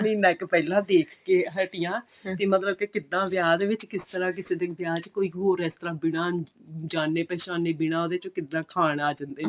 ਮੈਂ ਇੱਕ ਪਹਿਲਾਂ ਦੇਖ ਕੇ ਹਟੀ ਹਾਂ ਕਿ ਮਤਲਬ ਕਿ ਕਿੱਦਾਂ ਵਿਆਹ ਦੇ ਵਿੱਚ ਕਿਸ ਤਰ੍ਹਾਂ ਕਿਸੇ ਦੇ ਵਿਆਹ ਦੇ ਵਿੱਚ ਕੋਈ ਹੋਰ ਇਸ ਤਰ੍ਹਾਂ ਬਿਨਾਂ ਜਾਣੇ ਪਹਿਚਾਣੇ ਬਿਨਾਂ ਉਹਦੇ ਚ ਕਿੱਦਾਂ ਖਾਨ ਆ ਜਾਂਦੇ ਨੇ